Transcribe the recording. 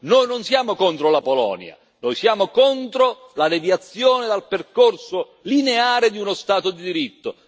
Noi non siamo contro la Polonia, noi siamo contro la deviazione dal percorso lineare di uno Stato di diritto.